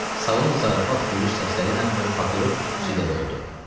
Salon zarafat, gülüş səsləriylə və papiros tüstüsü ilə doldu.